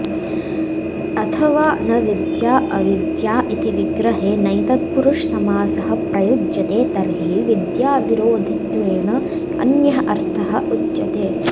अथवा न विद्या अविद्या इति विग्रहे नञ् तत्पुरुषसमासः प्रयुज्यते तर्हि विद्याविरोधित्वेन अन्यः अर्थः उच्यते